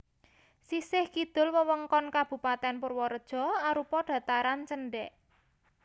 Sisih kidul wewengkon Kabupatèn Purwareja arupa dhataran cendhèk